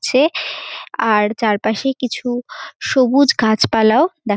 ছে আর চারপাশে কিছু সবুজ গাছপালাও দেখা --